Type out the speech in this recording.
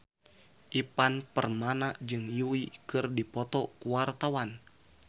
Ivan Permana jeung Yui keur dipoto ku wartawan